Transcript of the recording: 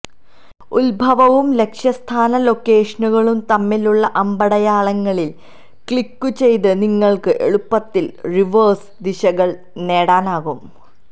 ഉത്ഭവവും ലക്ഷ്യസ്ഥാന ലൊക്കേഷനുകളും തമ്മിലുള്ള അമ്പടയാളങ്ങളിൽ ക്ലിക്കുചെയ്ത് നിങ്ങൾക്ക് എളുപ്പത്തിൽ റിവേഴ്സ് ദിശകൾ നേടാനാകും